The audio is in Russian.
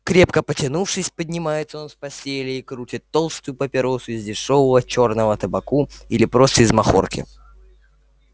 крепко потянувшись поднимается он с постели и крутит толстую папиросу из дешёвого чёрного табаку или просто из махорки